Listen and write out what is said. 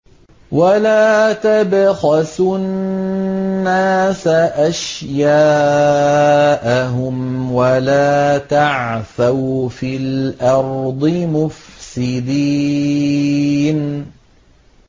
وَلَا تَبْخَسُوا النَّاسَ أَشْيَاءَهُمْ وَلَا تَعْثَوْا فِي الْأَرْضِ مُفْسِدِينَ